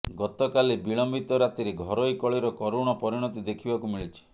ଗତକାଲି ବିଳମ୍ବିତ ରାତିରେ ଘରୋଇ କଳିର କରୁଣ ପରିଣତି ଦେଖିବାକୁ ମିଳିଛି